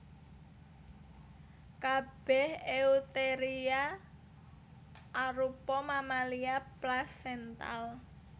Kabèh Eutheria arupa mamalia plasental